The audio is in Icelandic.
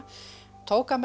tók hann með